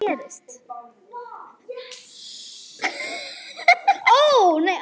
Þau verða að vera falleg.